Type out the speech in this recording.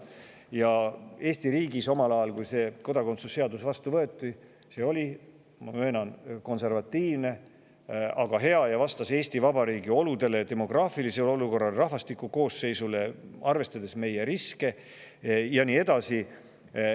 Kui omal ajal Eesti riigis see kodakondsuse seadus vastu võeti, siis see oli, ma möönan, konservatiivne, aga hea ning vastas Eesti Vabariigi oludele, demograafilisele olukorrale ja rahvastiku koosseisule, arvestades riske ja nii edasi.